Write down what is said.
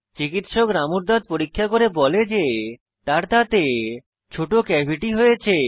চিকিৎসক রামুর দাঁত পরীক্ষা করে বলে যে তার দাঁতে ছোট ক্যাভিটি হয়েছে